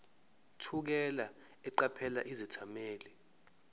thukela eqaphela izethameli